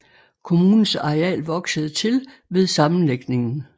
Kommunens areal voksede til ved sammenlægningen